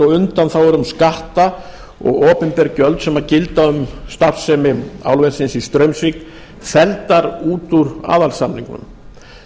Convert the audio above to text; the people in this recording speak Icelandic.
og undanþágur um skatta og opinber gjöld sem gilda um starfsemi álversins í straumsvík felldar út úr aðalsamningnum